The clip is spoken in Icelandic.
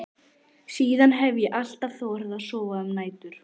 Síðan hef ég alltaf þorað að sofa um nætur.